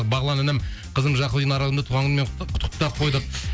бағлан інім қызым жақып линараны туған күнімен құттықтап қойдық